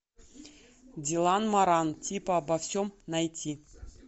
дилан моран типа обо всем найти